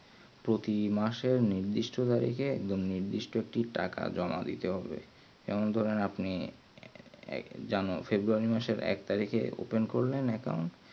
প্রতি মাসে নির্দিশ্ট তারিকে একদম নির্দিষ্টটি টাকা জমা দিতে হবে যেমন ধরেন আপনি যেন ফেব্রুয়ারী মাসের এক তারিকে open করলেন account